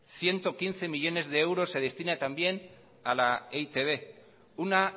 ciento quince millónes de euros se destinan también a la e i te be una